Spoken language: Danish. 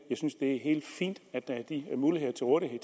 jeg synes det er helt fint at der er de muligheder til rådighed